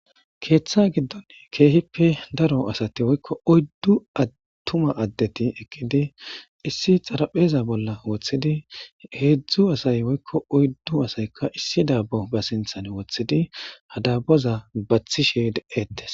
Keeththa giddon keehippe daro asati woykko oyddu attuma addeti eqqidi issi xaraphpheza bolla woththidi hedzdzdu asay woykko oyddu asaykka ba sinththan dabbo woththidi ha daabboza baththishe de'ettes.